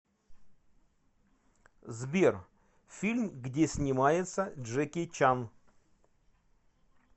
сбер фильм где снимается джеки чан